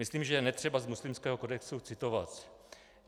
Myslím, že je netřeba z muslimského kodexu citovat.